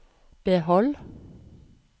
behold